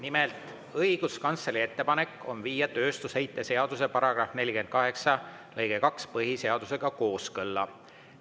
Nimelt, õiguskantsleri ettepanek on viia tööstusheite seaduse § 48 lõige 2 põhiseadusega kooskõlla.